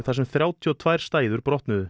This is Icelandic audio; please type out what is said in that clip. þar sem þrjátíu og tvær stæður brotnuðu